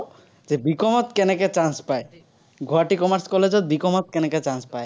B. COM ত কেনেকে chance পায়। গুৱাহাটী commerce college ত B. COM ত কেনেকে chance পায়।